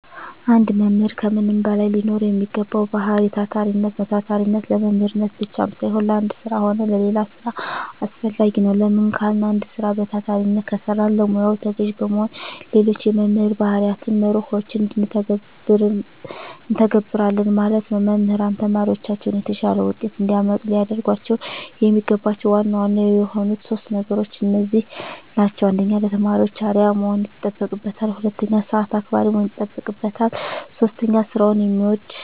አንድ መምህር ከምንም በላይ ሊኖረዉ የሚገባዉ ባህሪይ ታታሪነት ነዉ። ታታሪነት ለመምህርነት ብቻም ሳይሆን ለአንድ ስራ ሆነ ለሌላ ስራ አስፈላጊ ነዉ። ለምን ካልን አንድ ስራ በታታሪነት ከሰራን ለሙያዉ ተገዢ በመሆን ሌሎች የመምህር ባህርያትንና መርሆችን እንተገብረለን ማለት ነዉ። መምህራን ተማሪዎቻቸውን የተሻለ ዉጤት እንዲያመጡ ሊያደርጓቸዉ የሚገባቸዉ ዋና ዋና የሆኑት 3 ነገሮች እነዚህ ናቸዉ። 1. ለተማሪዎች አርዕያ መሆን ይጠበቅበታል። 2. ሰአት አክባሪ መሆን ይጠበቅበታል። 3. ስራዉን የሚወድ።